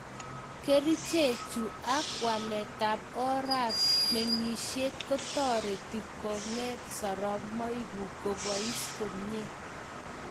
Kerichechu ak waltab orap mengishet kotaretin konget soromoikkuk kopois komie